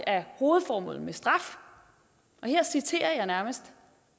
er hovedformålet med straf og her citerer jeg nærmest